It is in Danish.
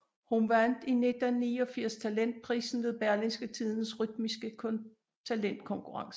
Hun vandt i 1989 talentprisen ved Berlingske Tidendes Rytmiske talentkonkurrence